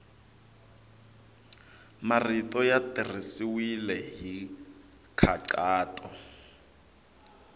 marito ya tirhisiwile hi nkhaqato